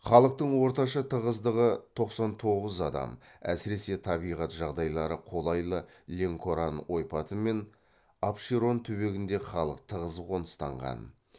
халықтың орташа тығыздығы тоқсан тоғыз адам әсіресе табиғат жағдайлары қолайлы ленкоран ойпаты мен апшерон түбегінде халық тығыз қоныстанған